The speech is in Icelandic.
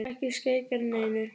Ekki skeikar neinu.